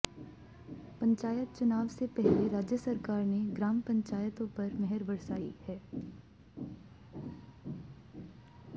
पंचायत चुनाव से पहले राज्य सरकार ने ग्राम पंचायतों पर मेहर बरसाई है